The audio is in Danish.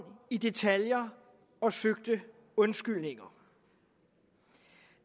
i detaljer og søgte undskyldninger